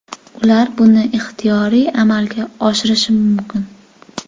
Ular buni ixtiyoriy amalga oshirishi mumkin.